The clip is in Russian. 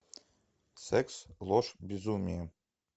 секс ложь безумие